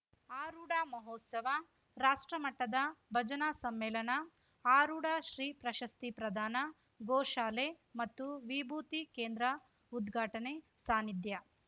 ಆರೂಢ ಮಹೋತ್ಸವ ರಾಷ್ಟ್ರಮಟ್ಟದ ಭಜನಾ ಸಮ್ಮೇಳನ ಆರೂಢ ಶ್ರೀ ಪ್ರಶಸ್ತಿ ಪ್ರದಾನ ಗೋಶಾಲೆ ಮತ್ತು ವಿಭೂತಿ ಕೇಂದ್ರ ಉದ್ಘಾಟನೆ ಸಾನ್ನಿಧ್ಯ